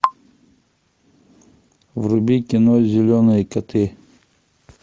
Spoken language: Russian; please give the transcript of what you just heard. вруби кино зеленые коты